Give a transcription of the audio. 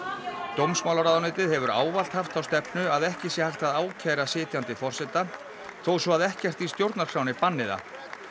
dómsmálaráðuneytið hefur ávallt haft þá stefnu að ekki sé hægt að ákæra sitjandi forseta þó svo að ekkert í stjórnarskránni banni það